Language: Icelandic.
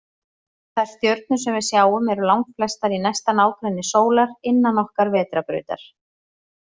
Þær stjörnur sem við sjáum eru langflestar í næsta nágrenni sólar, innan okkar vetrarbrautar.